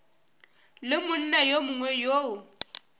le monna yo mongwe yo